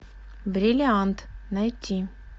бриллиант найти